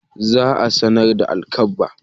Za a samar da alkabba.